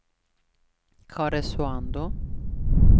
Karesuando